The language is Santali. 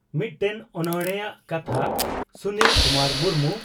ᱢᱤᱫᱴᱮᱱ ᱚᱱᱚᱬᱦᱮᱼᱟᱜ ᱠᱟᱛᱷᱟ (ᱥᱩᱱᱤᱞ ᱠᱩᱢᱟᱨ ᱢᱩᱨᱢᱩ)